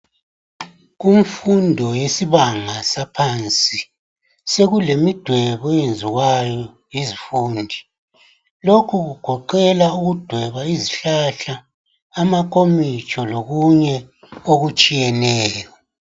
Kumfundo yesibanga saphansi sekulemidwebo eyenziwayo yizifundi lokhu kugoqela ukudweba izihlahla amakomitsho lokunye okutshiyeneyo.